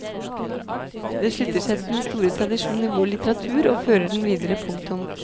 Det slutter seg til den store tradisjon i vår litteratur og fører den videre. punktum